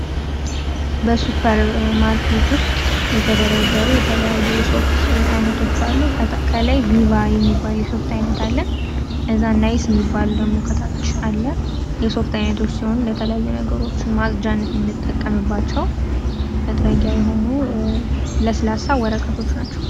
ሱፐር ማርኬት ውስጥ የተለያዩ የተደረደሩ የሶፍት ዓይነቶች አሉ። ከነዛ መካከል ቪቫ የሚባለው ሶፍት ዓይነት አለ ከዛ ናይስ የሚባል ደግሞ ከታች አለ የተለያዩ የሶፍት ዓይነቶች ሲሆኑ ከተለያዩ ነገሮች ለማጽዳት የምንጠቀምባቸው መጥረጊያ የሆኑ ለስላሳ ወረቀቶች ናቸው።